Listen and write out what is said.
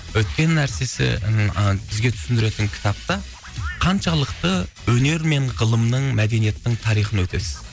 өткен нәрсесі ыыы бізге түсіндіретін кітапта қаншалықты өнер мен ғылымның мәдениеттің тарихын өтесіз